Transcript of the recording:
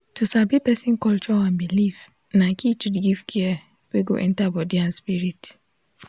to sabi person culture and belief na key to give care wey go enter body and spirit.